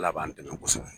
Ala b'an dɛmɛ kosɛbɛ